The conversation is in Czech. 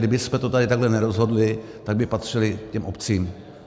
Kdybychom to tady takhle nerozhodli, tak by patřily těm obcím.